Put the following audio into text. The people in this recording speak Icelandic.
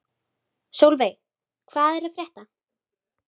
Solveig, hvað er að frétta?